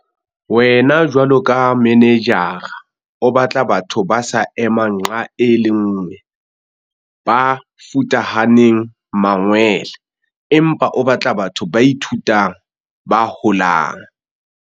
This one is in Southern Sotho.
Wena jwalo ka manejara o batla batho ba sa emang nqa e le nngwe, ba futahaneng mangwele, empa o batla batho ba ithutang, ba holang.